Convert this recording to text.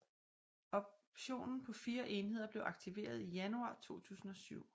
Optionen på 4 enheder blev aktiveret i januar 2007